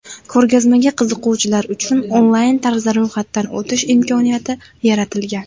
Ko‘rgazmaga qiziquvchilar uchun onlayn tarzda ro‘yxatdan o‘tish imkoniyati yaratilgan.